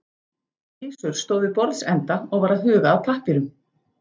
Gizur stóð við borðsenda og var að huga að pappírum.